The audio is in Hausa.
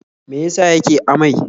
Me ya sa yake amai?